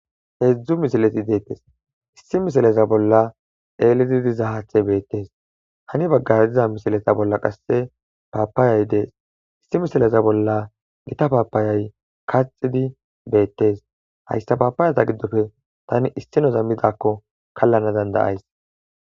Heedzdzu misileti deettes issi misileza bolla eelidi diza haathay de7es, hani baggara qasse paapayay dees issi misileza bolla kaxxida beettees hayssa paapayaza giddope issinoza midaakko kallana danda7aysi.